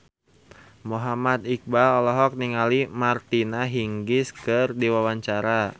Muhammad Iqbal olohok ningali Martina Hingis keur diwawancara